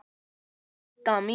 Didda mín.